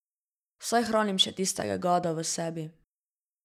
Saj hranim še tistega gada v sebi.